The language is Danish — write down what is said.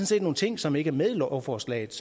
set nogle ting som ikke er med i lovforslaget